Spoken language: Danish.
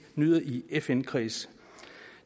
nyder i fn kredse